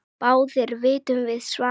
Báðir vitum við svarið